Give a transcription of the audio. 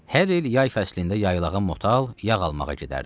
Hər il yay fəslində yaylağa motal yağ almağa gedərdi.